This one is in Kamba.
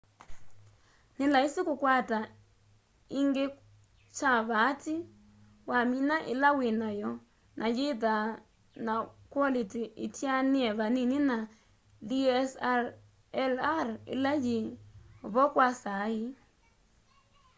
nĩ laisi kũkwata ĩngĩ kwa vaatĩ wamĩna ĩla wĩ nayo na yĩthaa na kwolĩtĩ ĩtĩanĩe vanini na dslr ĩla yĩ vo kwa saa ii